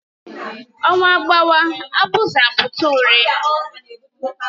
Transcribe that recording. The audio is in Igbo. Ọnwa gbawa abuzu apụta urị